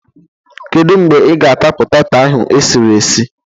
Kedu mgbe ị ga-ata poteto ahụ esiri esi?